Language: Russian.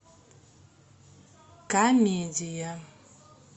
комедия